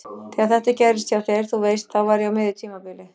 Þegar þetta gerðist hjá þér. þú veist. þá var ég á miðju tímabili.